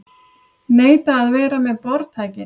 Neita að vera með boðtækin